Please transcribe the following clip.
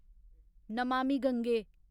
Namami Gange